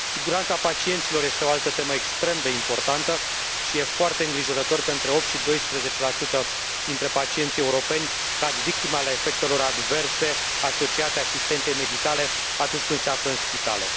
Siguranța pacienților este o altă temă extrem de importantă și este foarte îngrijorător că între 8 și 12 la sută dintre pacienții europeni cad victime ale efectelor adverse asociate asistenței medicale atunci când se află în spitale.